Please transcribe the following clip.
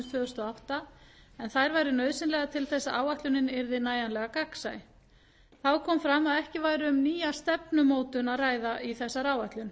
og átta en þær væru nauðsynlegar til þess að áætlunin yrði nægilega gagnsæ þá kom fram að ekki væri um nýja stefnumótun að ræða í þessari áætlun